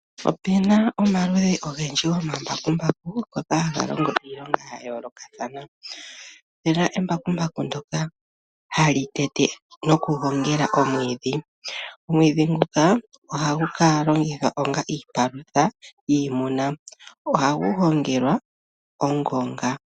Opena omaludhi ogendji gomambakumbaku ngoka haga longo iilonga yayoolokathana. Opena embakumbaku lyoka hali tete nokugongela omwiidhi, omwiidhi nguka ohagu kalongithwa onga iipalutha yiimuna na ohagu gongelwa ongonga.